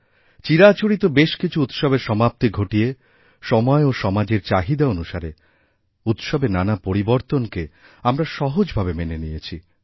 চিরাচরিত বেশ কিছু উৎসবের সমাপ্তি ঘটিয়ে সময় ও সমাজেরচাহিদা অনুসারে উৎসবে নানা পরিবর্তনকে আমরা সহজভাবে মেনে নিয়েছি